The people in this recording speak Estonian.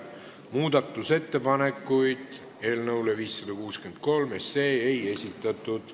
Muudatusettepanekuid eelnõu 563 kohta ei esitatud.